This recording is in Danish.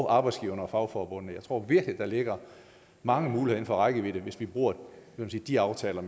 arbejdsgiverne og fagforbundene jeg tror virkelig der ligger mange muligheder inden for rækkevidde hvis vi bruger de aftaler